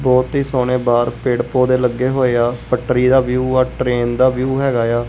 ਬਹੁਤ ਹੀ ਸੋਹਣੇ ਬਾਹਰ ਪੇੜ ਪੋਦੇ ਲੱਗੇ ਹੋਏ ਆ ਪੱਟਰੀ ਦਾ ਵਿਊ ਆ ਟ੍ਰੇਨ ਦਾ ਵਿਊ ਹੈਗਾ ਆ।